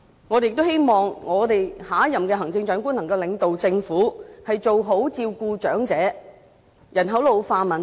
我們也希望下任行政長官能夠領導政府，改善對長者的照顧及處理人口老化的問題。